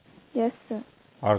yes sir